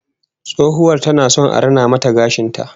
Tsohuwar tana son a rina mata gashin ta